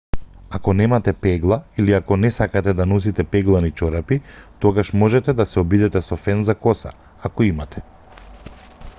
ако немате пегла или ако не сакате да носите пеглани чорапи тогаш можете да се обидете со фен за коса ако имате